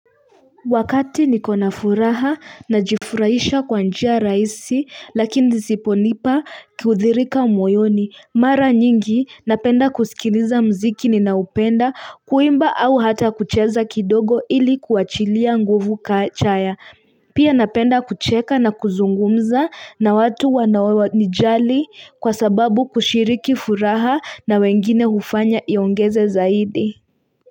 Wakati nikona furaha najifurahisha kwa njia rahisi lakini zinazonipa kurithirika mwoyoni mara nyingi napenda kusikiliza muziki ninaopenda kuimba au hata kucheza kidogo ili kuachilia nguvu kachaya pia napenda kucheka na kuzungumza na watu wanaonijali kwa sababu kushiriki furaha na wengine hufanya iongeze zaidi.